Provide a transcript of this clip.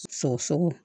Sogoso